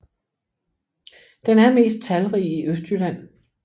Den er mest talrig i Østjylland